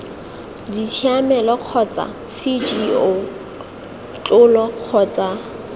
ditshiamelo kgotsa cgo tlola kgotsa